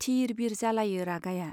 थिर बिर जालायो रागाया।